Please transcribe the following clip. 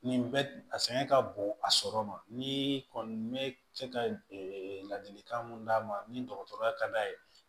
Nin bɛ a sɛgɛn ka bon a sɔrɔ ma ni kɔni bɛ se ka ladilikan mun d'a ma ni dɔgɔtɔrɔya ka d'a ye